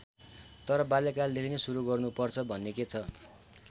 तर बाल्यकालदेखि नै सुरु गर्नु पर्छ भन्ने के छ?